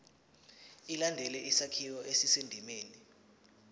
ilandele isakhiwo esisendimeni